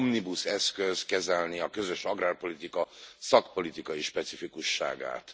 omnibus eszköz kezelni a közös agrárpolitika szakpolitikai specifikusságát.